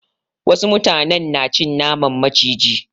Wasu mutanen na cin naman maciji.